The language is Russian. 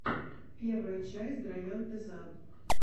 первая часть драянте зан